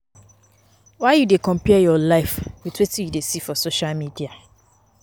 Why you dey compare your life wit wetin you dey see for social media?